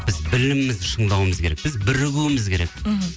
біз білімімізді шыңдауымыз керек біз бірігуіміз керек мхм